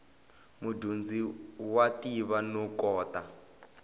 mudyondzi wa tiva no kota